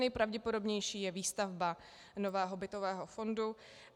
Nejpravděpodobnější je výstavba nového bytového fondu.